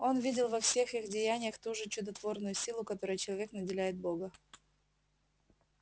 он видел во всех их деяниях ту же чудотворную силу которой человек наделяет бога